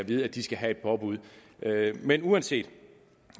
vide at de skal have et påbud men uanset